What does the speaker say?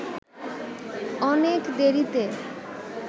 অনেক দেরিতে